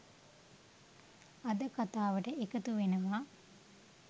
අද කථාවට එකතු වෙනවා.